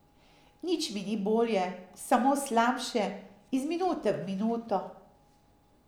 Nič mi ni bolje, samo slabše, iz minute v minuto.